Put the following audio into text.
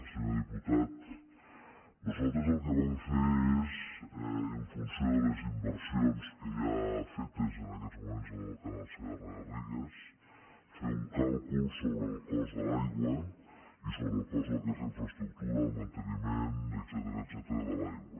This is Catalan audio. senyor diputat nosaltres el que vam fer és en funció de les inversions que hi ha fetes en aquests moments en el canal segarragarrigues fer un càlcul sobre el cost de l’aigua i sobre el cost del que és la infraestructura el manteniment etcètera de l’aigua